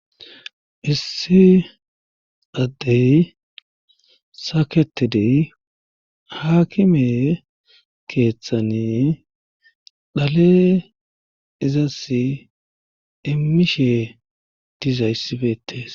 issi addey saketedey haakime keeththani dhale izas immishe dizayssi beetees